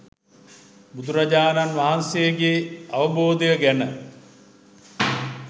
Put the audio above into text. බුදුරජාණන් වහන්සේගේ අවබෝධය ගැන